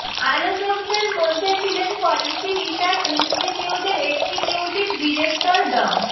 আলোচকদের মধ্যে ছিলেন policy research ইন্সটিটিউটের এক্সিকিউটিভ ডিরেক্টর ড